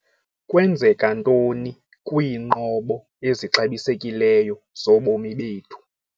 Kwenzeka ntoni kwiinqobo ezixabisekileyo zobomi bethu?